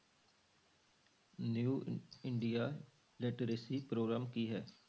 New India literacy programme ਕੀ ਹੈ?